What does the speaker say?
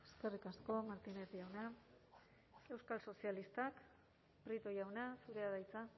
eskerrik asko martínez jauna euskal sozialistak prieto jauna zurea da hitza